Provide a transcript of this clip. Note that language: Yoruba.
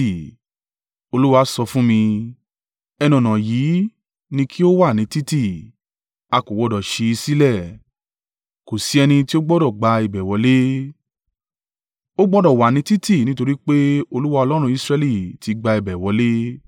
Olúwa sọ fún mi, “Ẹnu-ọ̀nà yìí ni kí ó wà ní títì. A kò gbọdọ̀ ṣí i sílẹ̀; kò sí ẹni tí o gbọdọ̀ gba ibẹ̀ wọlé. Ó gbọdọ̀ wà ní títì nítorí pé Olúwa Ọlọ́run Israẹli tí gbà ibẹ̀ wọlé.